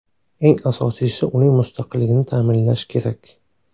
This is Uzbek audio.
Eng asosiysi, uning mustaqilligini ta’minlash kerak.